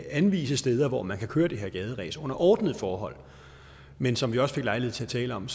anvise steder hvor man kan køre det her gaderæs under ordnede forhold men som vi også fik lejlighed til at tale om